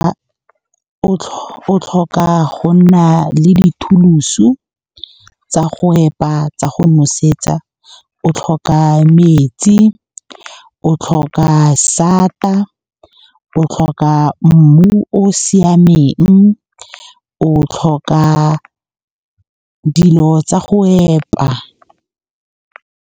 O tlhoka go nna le di-tools-o tsa go epa, tsa go nosetsa. O tlhoka metsi, o tlhoka a sata, o tlhoka mmu o o siameng, o tlhoka dilo tsa go epa.